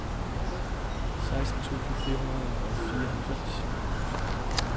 seksten tusind fire hundrede og fireoghalvfems